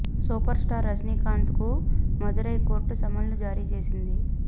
super star Rajinikanth కు Madurai court సమన్లు జారీ చేసింది